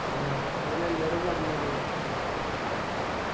ആഹ് ഓൻ അന്നൊട് പറഞ്ഞത്